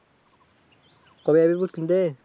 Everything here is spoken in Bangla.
কবে যাবি বুট কিনতে?